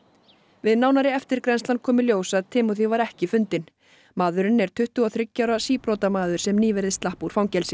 við nánari eftirgrennslan kom í ljós að Timmothy var ekki fundinn maðurinn er tuttugu og þriggja ára síbrotamaður sem nýverið slapp úr fangelsi